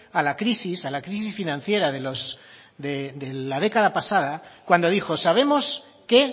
a la crisis a la crisis financiera de la década pasada cuando dijo sabemos qué